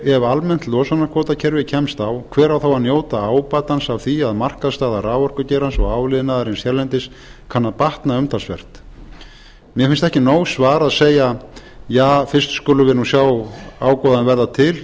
ef almennt losunarkvótakerfi kemst á hver á þá að njóta ábatans af því að markaðsstaða raforkugeirans og áliðnaðarins hérlendis kann að batna umtalsvert mér finnst það ekki nóg svar að segja ja fyrst skulum við nú sjá ágóðann verða til